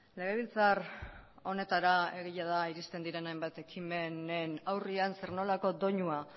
legebiltzar honetara egia da iristen diren hainbat ekimenen aurrean zer nolako doinua